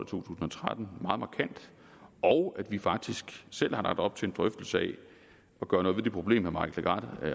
tusind og tretten meget markant og at vi faktisk selv har lagt op til en drøftelse af at gøre noget ved det problem herre mike legarth